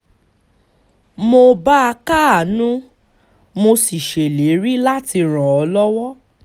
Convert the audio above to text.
mo bá a káàánú mo sì ṣèlérí láti ràn án lọ́wọ́